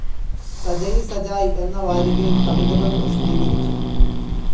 സജയിസജായ് എന്ന വാരികയിൽ കവിതകൾ പ്രസിദ്ധീകരിച്ചു.